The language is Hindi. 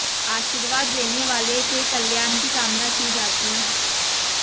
आशीर्वाद लेने वाले के कल्याण की कामना की जाती है